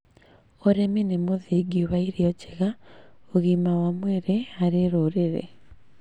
ũrĩmi nĩ mũthingi wa irio njega, ũgima wa mwĩrĩ harĩ rũrĩrĩ.